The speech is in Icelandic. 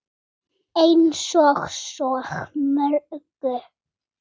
Eins og svo mörgu.